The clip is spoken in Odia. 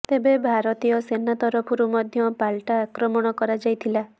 ତେବେ ଭାରତୀୟ ସେନା ତରଫରୁ ମଧ୍ୟ ପାଲଟା ଆକ୍ରମଣ କରାଯାଇଥିଲା